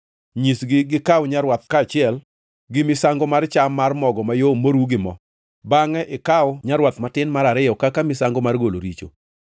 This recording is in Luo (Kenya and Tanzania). Nyisgi gikaw nyarwath kaachiel gi misango mar cham mar mogo mayom moru gi mo; bangʼe ikaw nyarwath matin mar ariyo kaka misango mar golo richo.